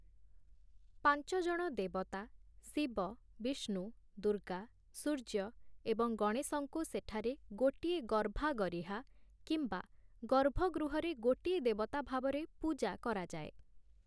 ପାଞ୍ଚଜଣ ଦେବତା- ଶିବ, ବିଷ୍ଣୁ, ଦୁର୍ଗା, ସୂର୍ଯ୍ୟ ଏବଂ ଗଣେଶଙ୍କୁ ସେଠାରେ ଗୋଟିଏ 'ଗର୍ଭାଗରୀହା' କିମ୍ବା 'ଗର୍ଭଗୃହ'ରେ ଗୋଟିଏ ଦେବତା ଭାବରେ ପୂଜା କରାଯାଏ ।